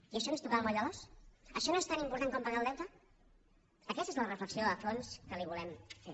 i això no és tocar el moll de l’os això no és tan important com pagar el deute aquesta és la reflexió de fons que li volem fer